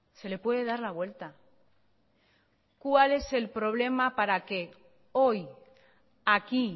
se le puede dar la vuelta cuál es el problema para que hoy aquí